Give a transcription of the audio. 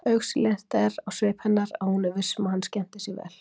Augsýnilegt er á svip hennar að hún er viss um að hann skemmti sér vel.